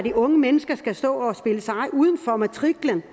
unge mennesker skal stå og spille seje uden for matriklen